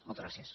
moltes gràcies